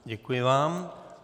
Děkuji vám.